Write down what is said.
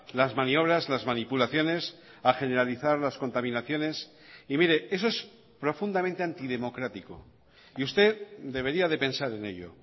las maniobras las manipulaciones a generalizar las contaminaciones y mire eso es profundamente antidemocrático y usted debería de pensar en ello